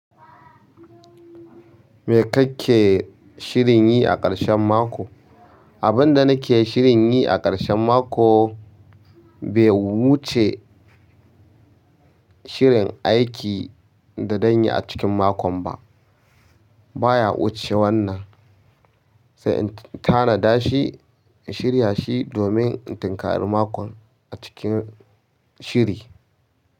Me ka ke shirin yi a ƙarshen mako? Abin da nake shirin yi a ƙarshen mako, bai wuce shirin aiki da zanyi a cikin makon ba. Ba ya wuce wannan, sai in tanada shi, in shirya shi domin in tinkari makon a cikin shiri.